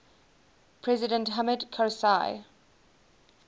president hamid karzai